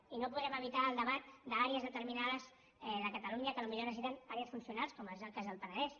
i no podem evitar el debat d’àrees determinades de catalunya que potser necessiten àrees funcionals com és el cas del penedès